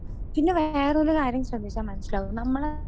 പിന്നെ വേറെയൊരു കാര്യം ശ്രദ്ധിച്ചാൽ മനസിലാകും നമ്മൾ